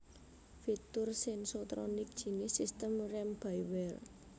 fitur Sensotronic jinis sistem rem by wire